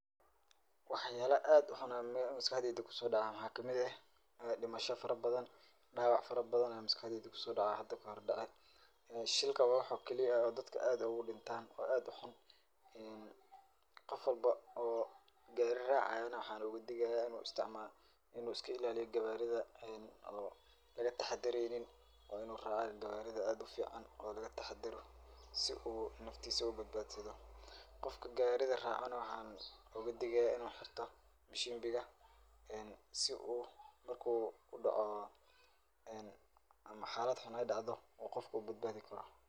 Waxyala aad u xanun leh oo maskaxdeyda kusodaca maxaa kamid eh dimasha fara badan daawac fara badan aa maskaxdeyda kusodaca hada kahor dace shilka waa waxa kaliya ay dadka aad ogu dhintan oo aad u xanun badan. Qof walba oo gaari raacayo ne waxaan oga digaya inu isticmaalo inu iska ilaaliyo gawarida oo an laga taxadareynin waa inu raaca gawarida aad u fican oo laga taxadaro si u naftiisa u badbaadsado qofka gawarida raacana waxaan og digaya inu xirto bishimbiga si oo marki u daco ama xaalad xun ay dacdo oo qofka u badbaadi karo.